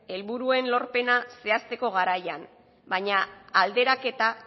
helburuen lorpena zehazteko garaian baina alderaketa